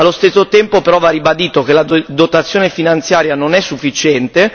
Allo stesso tempo però va ribadito che la dotazione finanziaria non è sufficiente.